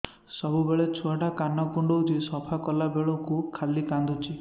ସବୁବେଳେ ଛୁଆ ଟା କାନ କୁଣ୍ଡଉଚି ସଫା କଲା ବେଳକୁ ଖାଲି କାନ୍ଦୁଚି